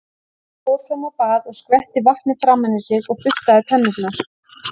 Hann fór fram á bað og skvetti vatni framan í sig og burstaði tennurnar.